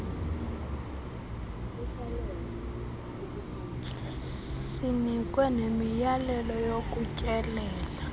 sinikwe nemiyalelo yokutyelela